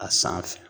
A sanfɛ